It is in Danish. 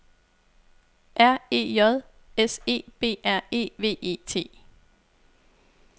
R E J S E B R E V E T